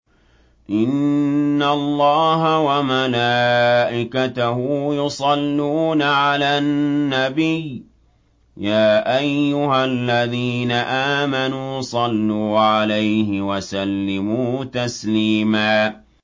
إِنَّ اللَّهَ وَمَلَائِكَتَهُ يُصَلُّونَ عَلَى النَّبِيِّ ۚ يَا أَيُّهَا الَّذِينَ آمَنُوا صَلُّوا عَلَيْهِ وَسَلِّمُوا تَسْلِيمًا